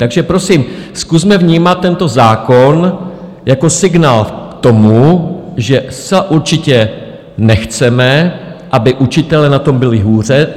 Takže prosím, zkusme vnímat tento zákon jako signál k tomu, že zcela určitě nechceme, aby učitelé na tom byli hůře.